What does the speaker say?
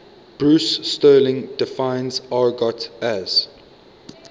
bruce sterling defines argot as